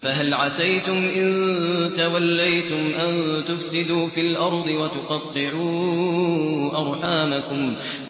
فَهَلْ عَسَيْتُمْ إِن تَوَلَّيْتُمْ أَن تُفْسِدُوا فِي الْأَرْضِ وَتُقَطِّعُوا أَرْحَامَكُمْ